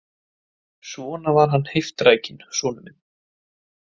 Svona var hann heiftrækinn, sonur minn.